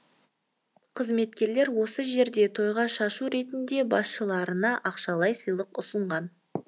қызметкерлер осы жерде тойға шашу ретінде басшыларына ақшалай сыйлық ұсынған